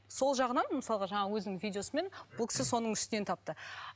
сол жағынан мысалға жаңағы өзінің видеосымен бұл кісі соның үстінен тапты